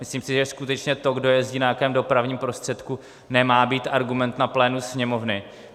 Myslím si, že skutečně to, kdo jezdí na jakém dopravním prostředku, nemá být argument na plénu Sněmovny.